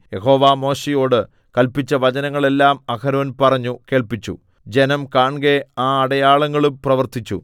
യഹോവ മോശെയോട് കല്പിച്ച വചനങ്ങളെല്ലാം അഹരോൻ പറഞ്ഞു കേൾപ്പിച്ചു ജനം കാൺകെ ആ അടയാളങ്ങളും പ്രവർത്തിച്ചു